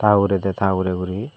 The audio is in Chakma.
ta ugure tey ta ugure guri.